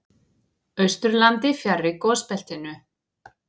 Austurlandi, fjarri gosbeltinu.